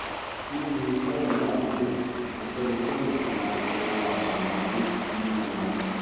níbi tọ́rọ̀ náà lè dé kò sẹ́ni tó lè sun oorun àsun-díjú nínú wọn